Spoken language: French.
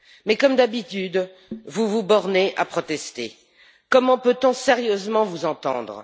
Mais comme d'habitude, vous vous bornez à protester. Comment peut on sérieusement vous entendre?